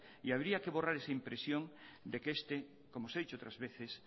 y habría que borrar esa impresión de que este como se ha dicho otras veces